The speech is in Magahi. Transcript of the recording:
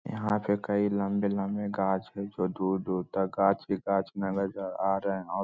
यहां पे कई लम्बे-लम्बे गाछ है जो दूर-दूर तक गाछ ही गाछ आ रहे हैं औ --